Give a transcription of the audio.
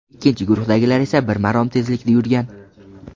Ikkinchi guruhdagilar esa bir marom tezlikda yurgan.